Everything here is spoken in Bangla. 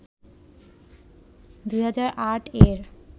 ২০০৮-এর